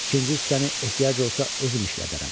İkinci hissəni ehtiyac olsa özüm işlədərəm.